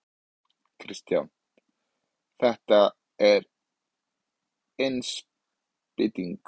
Kristján: Þetta er innspýting?